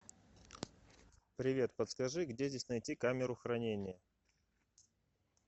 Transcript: привет подскажи где здесь найти камеру хранения